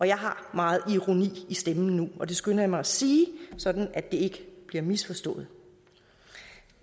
jeg har meget ironi i stemmen nu og det skynder jeg mig at sige så det ikke bliver misforstået